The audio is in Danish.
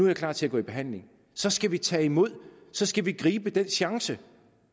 jeg klar til at gå i behandling så skal vi tage imod så skal vi gribe den chance